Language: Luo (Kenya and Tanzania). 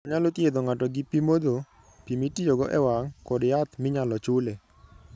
Onyalo thiedho ng'ato gi pi modho, pi mitiyogo e wang ', kod yath minyalo chule.